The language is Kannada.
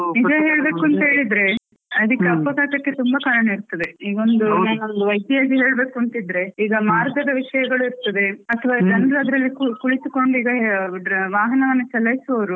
ನಿಜ ಹೇಳ್ಬೇಕು ಅಂತ ಹೇಳಿದ್ರೆ ಅದಿಕೆ ಅಪಘಾತಕ್ಕೆ ತುಂಬ ಕಾರಣ ಇರ್ತದೆ, ಏನಾದ್ರು ಒಂದು ಹೇಳ್ಬೇಕು ಅಂತ ಇದ್ರೆ ಈಗ ಮಾರ್ಗದ ವಿಷ್ಯಗಳು ಇರ್ತದೆ ಅತ್ವ ಜನ್ಡ್ರು ಅದ್ರಲ್ಲಿ ಕುಳಿತುಕೊಂಡು ಈಗ ವಾಹನವನ್ನು ಚಲಾಯಿಸುವವ್ರು.